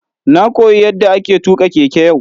Na koyi yadda ake tuka keke yau.